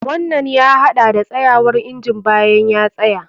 Wannan ya haɗa da tsayawar injin bayan ya tsaya.